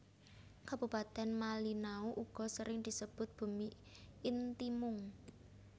Kabupatèn Malinau uga sering disebut Bumi Intimung